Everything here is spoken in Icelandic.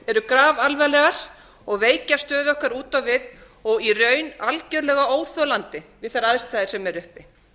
eru grafalvarlegar og veikja stöðu okkar út á við og í raun algerlega óþolandi við þær aðstæður sem eru uppi